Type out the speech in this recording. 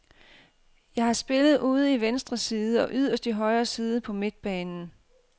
Jeg har spillet ude i venstre side og yderst i højre side på midtbanen.